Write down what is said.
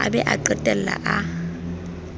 a be a qetelle a